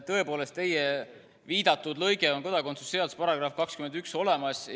Tõepoolest, teie viidatud lõige on kodakondsuse seaduse §-s 21 olemas.